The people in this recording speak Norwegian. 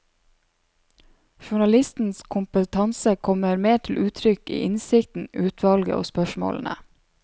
Journalistens kompetanse kommer mer til uttrykk i innsikten, utvalget og spørsmålene.